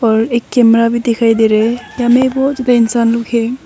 और एक कैमरा भी दिखाई दे रहा है जहाँ में बहोत भी इंसान लोग है।